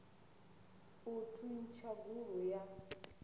u thuntsha gulu ya u